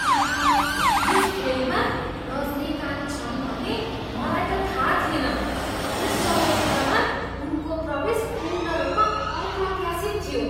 आहा! यस फिल्ममा रजनीकान्त छन् भन्ने मलाई त थाहा थिएन। यस चलचित्रमा उनको प्रवेश पूर्ण रूपमा अप्रत्याशित थियो।